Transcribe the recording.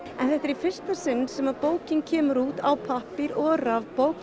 en þetta er í fyrsta sinn sem bókin kemur út á pappír og rafbók